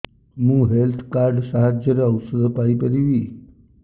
ମୁଁ health card ସାହାଯ୍ୟରେ ଔଷଧ ପାଇ ପାରିବି